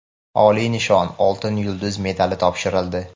oliy nishon — "Oltin yulduz" medali topshirildi.